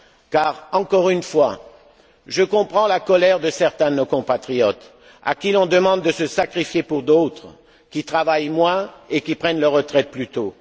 Car, encore une fois, je comprends la colère de certains de nos compatriotes à qui l'on demande de se sacrifier pour d'autres qui travaillent moins et qui prennent leur retraite plus tôt.